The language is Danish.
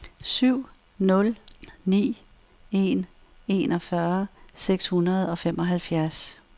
syv nul ni en enogfyrre seks hundrede og femoghalvfjerds